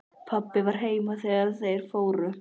Pabbi var heima þegar þeir fóru.